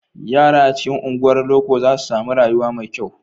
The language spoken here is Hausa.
Yara a cikin unguwar loko za su sami rayuwa mai kyau.